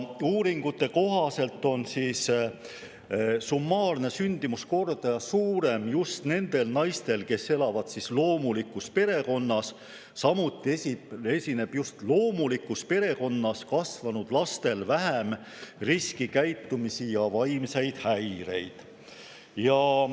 Uuringute kohaselt on summaarne sündimuskordaja suurem just nendel naistel, kes elavad loomulikus perekonnas, samuti esineb just sellises perekonnas kasvanud lastel vähem riskikäitumist ja vaimseid häireid.